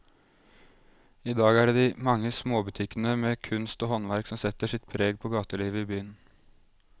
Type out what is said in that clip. I dag er det de mange små butikkene med kunst og håndverk som setter sitt preg på gatelivet i byen.